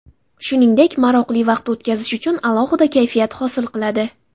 Shuningdek maroqli vaqt o‘tkazish uchun alohida kayfiyat hosil qiladi.